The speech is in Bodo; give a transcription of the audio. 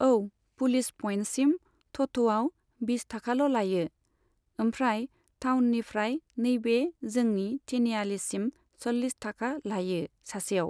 औ पुलिस पइन्टसिम थथ'आव बिस थाखाल' लायो। ओमफ्राय टाउननिफ्राय नैबे जोंनि तिनिआलिसिम सल्लिस थाखा लायो सासेयाव।